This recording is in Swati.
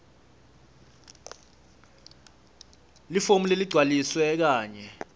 lifomu leligcwalisiwe kanye